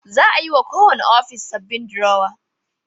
Za'a yi wa kowanne ofis sabbin durowa